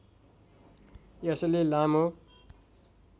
यसले लामो